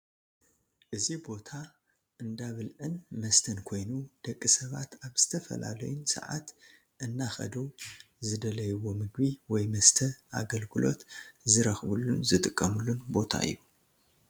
እዚ ቦታ እንዳብልዕን መሰተን ኮይኑ ደቂ ስባት አብ ዝተፈላለዩን ስዓት እናከድ ዝደሊዎ ምግቢ ወይ መስተ አገልግሎት ዝረክቡሉን ዝጥቀምሉን ቦታ እዩ ።